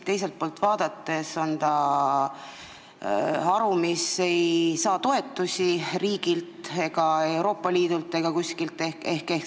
Teiselt poolt vaadates on ta haru, mis ei saa toetusi riigilt, Euroopa Liidult ega kuskilt.